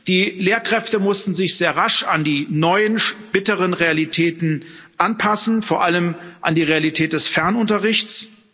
Die Lehrkräfte mussten sich sehr rasch an die neuen bitteren Realitäten anpassen, vor allem an die Realität des Fernunterrichts.